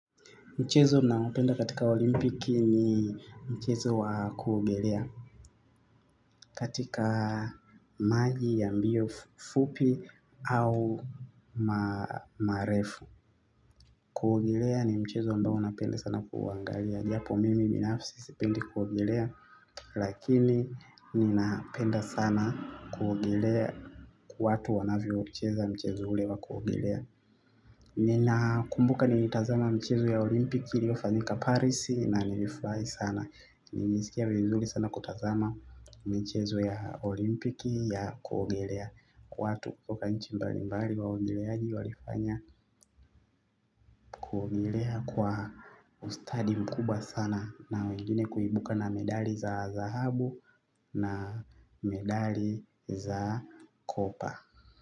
Mchezo napenda katika olimpiki ni mchezo wa kuogelea katika maji ya mbio fupi au marefu. Kuogelea ni mchezo ambao napenda sana kuangalia. Japo mimi binafsi sipendi kuogelea lakini ninapenda sana kuogelea kuona wanavyocheza mchezo ule wa kuogelea. Ninakumbuka nilitazama michezo ya olimpiki iliofanyika parisi na nilifurahi sana. Niliskia vizuri sana kutazama michezo ya olimpiki ya kuogelea. Kwa watu kutoka nchi mbalimbali wa waogeleaji walifanya kuogelea kwa ustadi mkubwa sana. Na wengine kuibuka na medali za za dhahabu na medali za kopa.